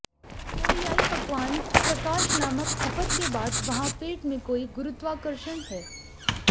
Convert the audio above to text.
कोरियाई पकवान प्रकाश नामक खपत के बाद वहाँ पेट में कोई गुरुत्वाकर्षण है